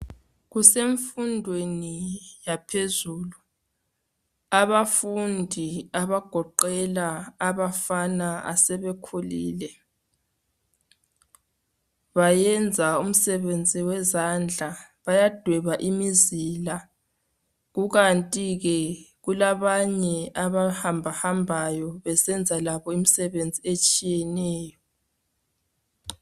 Kusemfundweni yaphezulu abafundi abagoqela abafana asebekhulile bayenza umsebenzi wezandla bayadweba imizila kukanti ke kulabanye abahambahambayo besenza labo imisebenzi etshiyeneyo.